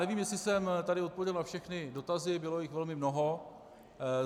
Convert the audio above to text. Nevím, jestli jsem tady odpověděl na všechny dotazy, bylo jich velmi mnoho.